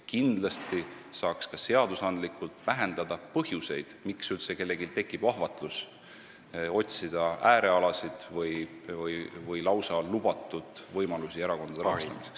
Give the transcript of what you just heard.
Kindlasti saaks ka seadusloomega vähendada põhjuseid, miks üldse kellelgi tekib ahvatlus otsida äärealasid või lausa lubatud võimalusi erakondade rahastamiseks.